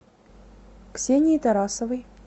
ксении тарасовой